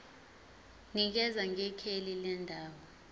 nikeza ngekheli lendawo